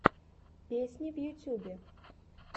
песни в ютубе